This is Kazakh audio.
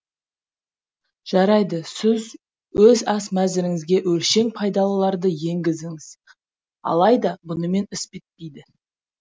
жарайды сіз өз ас мәсіріңізге өңшең пайдалыларды еңгізіңіз алайда бұнымен іс бітпейді